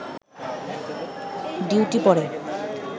duty পড়ে